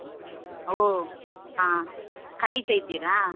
ಓ ಆ ಕಲಿತಾ ಇದ್ದೀರಾ?